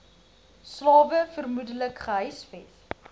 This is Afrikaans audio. slawe vermoedelik gehuisves